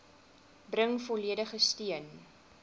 bring volledige steun